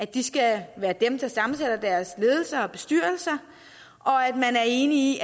de skal være dem der sammensætter deres ledelser og bestyrelser og at man er enig